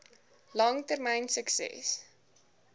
lang termyn sukses